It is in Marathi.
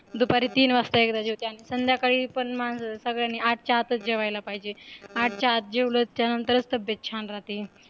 दुपारी तीन वाजता एकदा जेवते आणि, संध्याकाळी पण सगळ्यांनी आठच्या आतच जेवायला पाहिजे, आठच्या आता जेवलो की त्यानंतरच तब्येत छान राहतीय